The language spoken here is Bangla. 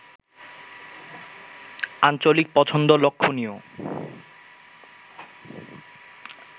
আঞ্চলিক পছন্দ লক্ষ্যনীয়